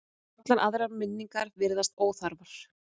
Allar aðrar minningar virðast óþarfar.